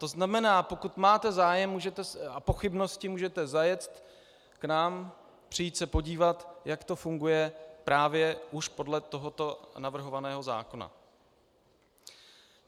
To znamená, pokud máte zájem a pochybnosti, můžete zajet k nám, přijít se podívat, jak to funguje právě už podle tohoto navrhovaného zákona.